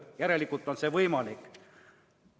Järelikult on see võimalik.